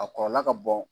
A kɔrɔ ka bon